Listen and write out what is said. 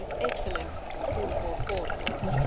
excellent food for thought for us.